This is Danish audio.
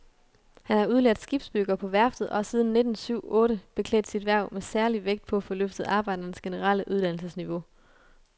Han er udlært skibsbygger på værftet og har siden nitten syv otte beklædt sit hverv med særlig vægt på at få løftet arbejdernes generelle uddannelsesniveau.